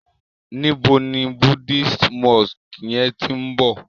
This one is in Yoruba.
níbo ní Buddhist monk yén tin bo?